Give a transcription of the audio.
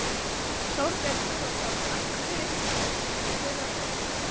Þorbjörn Þórðarson: Af hverju þurfa þeir að gera það?